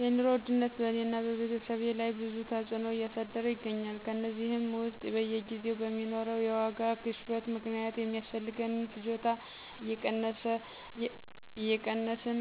የኑሮ ውድነት በእኔና በቤተሰቤ ላይ ብዙ ተዕጽኖ እያሳደረ ይገኛል። ከእነዚህም ውስጥ በየጊዜው በሚኖረው የዋጋ ግሽበት ምክንያት ሚያስፈልገንን ፍጆታ እየቀነስን